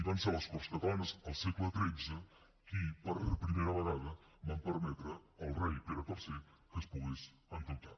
van ser les corts catalanes al segle xiii qui per primera vegada van permetre al rei pere iii que es pogués endeutar